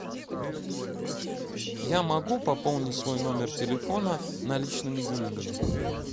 я могу пополнить свой номер телефона наличными деньгами